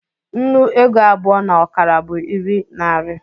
nnu ego abụọ na ọkara bụ iri nari